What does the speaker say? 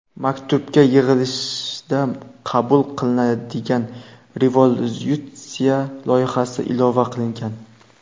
Maktubga yig‘ilishda qabul qilinadigan rezolyutsiya loyihasi ilova qilingan.